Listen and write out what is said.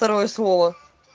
второе слово